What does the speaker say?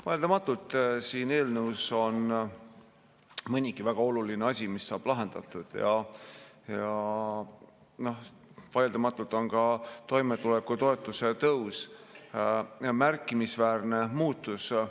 Vaieldamatult siin eelnõus on mõnigi väga oluline asi, mis saab lahendatud, ja vaieldamatult on ka toimetulekutoetuse tõus märkimisväärne muutus.